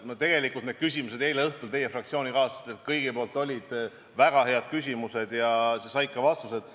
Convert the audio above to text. Tegelikult kõik need küsimused, mida teie fraktsioonikaaslased eile õhtul esitasid, olid väga head ja said ka vastused.